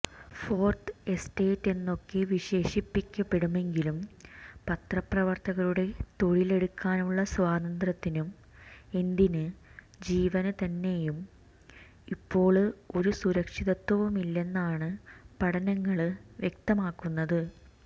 fourth എസ്റ്റേറ്റെന്നൊക്കെ വിശേഷിപ്പിക്കപ്പെടുമെങ്കിലും പത്രപ്രവര്ത്തകരുടെ തൊഴിലെടുക്കാനുള്ള സ്വാതന്ത്ര്യത്തിനും എന്തിന് ജീവന് തന്നെയും ഇപ്പോള് ഒരു സുരക്ഷിതത്വവുമില്ലെന്നാണ് പഠനങ്ങള് വ്യക്തമാക്കുന്നത്